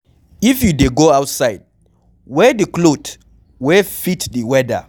If you dey go outside, wear di cloth wey fit di weather